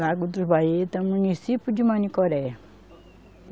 Lago dos Baita, município de Manicoré.